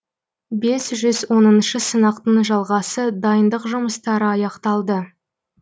бес жүз оныншы сынақтың жалғасы дайындық жұмыстары аяқталды